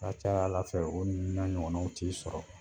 A ka ca Ala fɛ o ninnu n'a ɲɔgɔnnaw t'i sɔrɔ